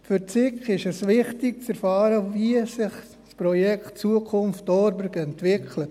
Für die SiK ist es wichtig zu erfahren, wie sich das Projekt «Zukunft Thorberg» entwickelt.